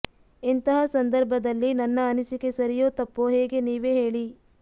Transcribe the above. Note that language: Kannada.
ಇಂಥಹ ಸಂಧರ್ಭದಲ್ಲಿ ನನ್ನ ಅನಿಸಿಕೆ ಸರಿಯೋ ತಪ್ಪೋ ಹೇಗೆ ನೀವೇ ಹೇಳಿ